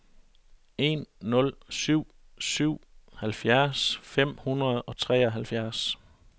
en nul syv syv halvfjerds fem hundrede og treoghalvtreds